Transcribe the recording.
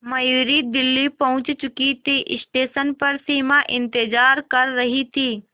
मयूरी दिल्ली पहुंच चुकी थी स्टेशन पर सिमा इंतेज़ार कर रही थी